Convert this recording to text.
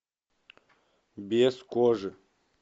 без кожи